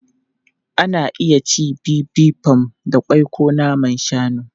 Ana iya cin Bibimbap da ƙwai ko naman shanu.